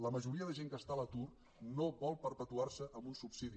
la majoria de gent que està a l’atur no vol perpetuarse amb un subsidi